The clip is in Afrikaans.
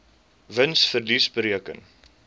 wins verlies bereken